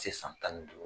Se san tan ni duuru